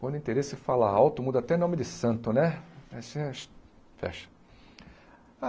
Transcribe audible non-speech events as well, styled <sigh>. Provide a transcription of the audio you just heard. Quando interesse fala alto, muda até nome de santo, né? <unintelligible>